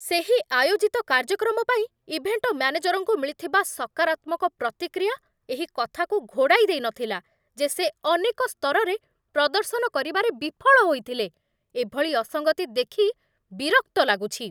ସେହି ଆୟୋଜିତ କାର୍ଯ୍ୟକ୍ରମ ପାଇଁ ଇଭେଣ୍ଟ ମ୍ୟାନେଜରଙ୍କୁ ମିଳିଥିବା ସକାରାତ୍ମକ ପ୍ରତିକ୍ରିୟା ଏହି କଥାକୁ ଘୋଡ଼ାଇ ଦେଇନଥିଲା ଯେ ସେ ଅନେକ ସ୍ତରରେ ପ୍ରଦର୍ଶନ କରିବାରେ ବିଫଳ ହୋଇଥିଲେ। ଏଭଳି ଅସଙ୍ଗତି ଦେଖି ବିରକ୍ତ ଲାଗୁଛି।